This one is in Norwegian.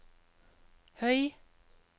høy